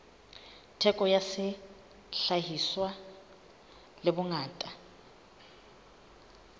theko ya sehlahiswa le bongata